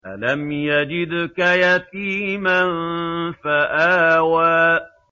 أَلَمْ يَجِدْكَ يَتِيمًا فَآوَىٰ